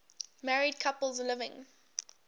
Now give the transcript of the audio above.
married couples living